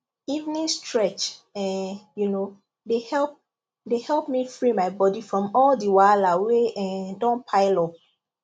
evening stretch um you know dey help dey help me free my body from all the wahala wey um don pile up